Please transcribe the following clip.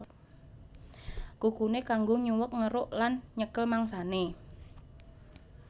Kukuné kanggo nyuwèk ngeruk lan nyekel mangsané